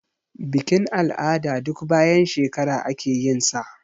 Bikin-al'ada duk bayan shekara ake yinsa.